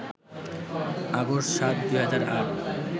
August ৭, ২০০৮